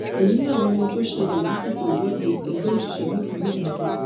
èyí làwọn ohun tó ṣẹlẹ lásìkò ìwọde ẹgbẹ òṣìṣẹ nípínlẹ ondo